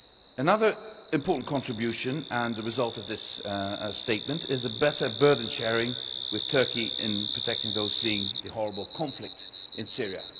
Another important contribution, and a result of this statement is better burden-sharing with Turkey in protecting those fleeing the horrible conflict in Syria.